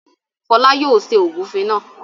Fọlá yóò ṣe ògúnfe náà.